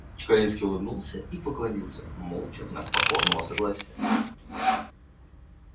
чекалинский улыбнулся и поклонился молча в знак покорного согласия